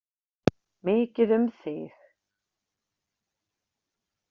Mikið um þig.